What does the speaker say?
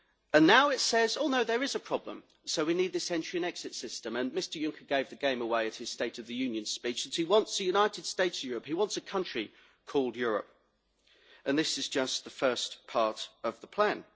And now it says oh no, there is a problem, so we need this Entry Exist System', and Mr Juncker gave the game away at his State of the Union speech that he wants a united states of Europe', he wants a country called Europe, and this is just the first part of the plan.